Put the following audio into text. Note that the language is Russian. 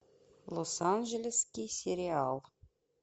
лос анджелеский сериал